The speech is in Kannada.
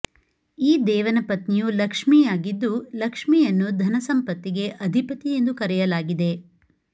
ಈ ದೇವನ ಪತ್ನಿಯು ಲಕ್ಷ್ಮೀಯಾಗಿದ್ದು ಲಕ್ಷ್ಮೀಯನ್ನು ಧನಸಂಪತ್ತಿಗೆ ಅಧಿಪತಿ ಎಂದು ಕರೆಯಲಾಗಿದೆ